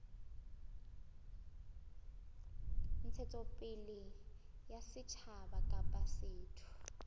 ntshetsopele ya setjhaba kapa setho